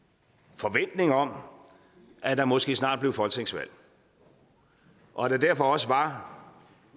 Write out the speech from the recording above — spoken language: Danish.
forventning om at der måske snart blev folketingsvalg og at der derfor også var